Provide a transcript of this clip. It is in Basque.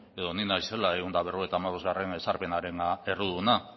edo ni naizela ehun eta berrogeita hamabostgarrena ezarpenaren erruduna